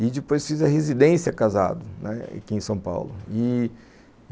E depois fiz a residência casado, né, aqui em São Paulo.